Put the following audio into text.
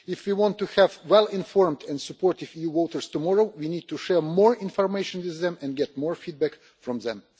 If we want to have well informed and supportive EU voters tomorrow, we need to share more information with them and get more feedback from them.